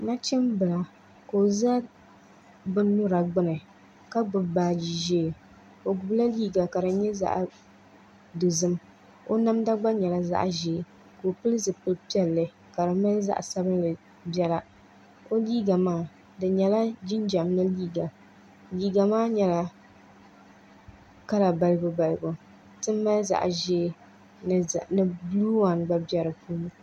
Nachimbila ka o ʒɛ bin nyura gbuni ka gbubi baaji ʒiɛ o gbubila liiga ka di nyɛ zaɣ dozim o namda gba nyɛla zaɣ ʒiɛ ka o pili zipili piɛlli ka di niŋ zaɣ sabinli biɛla o liiga maa di nyɛla jinjɛm mini liiga liiga maa nyɛla kala balibu balibu ti mali zaɣ ʒiɛ ni buluu waan gba bɛ di puuni